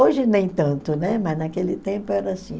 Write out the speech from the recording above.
Hoje nem tanto, né, mas naquele tempo era assim.